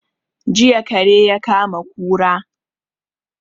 Jiya kare ya kama kura